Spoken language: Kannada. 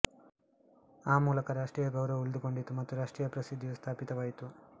ಆ ಮೂಲಕ ರಾಷ್ಟ್ರೀಯ ಗೌರವವು ಉಳಿದುಕೊಂಡಿತು ಮತ್ತು ರಾಷ್ಟ್ರೀಯ ಪ್ರಸಿದ್ಧಿಯು ಸ್ಥಾಪಿತವಾಯಿತು